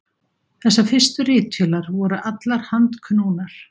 Þessar fyrstu ritvélar voru allar handknúnar.